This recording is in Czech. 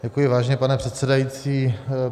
Děkuji, vážený pane předsedající.